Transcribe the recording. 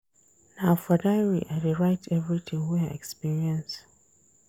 Na for diary I dey write everytin wey I experience.